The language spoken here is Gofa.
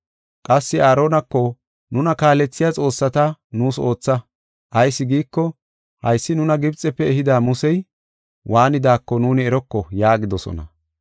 Qassi Aaronako, ‘Nuna kaalethiya xoossata nuus ootha. Ayis giiko, haysi nuna Gibxefe ehida Musey, waanidaako nuuni eroko’ yaagidosona.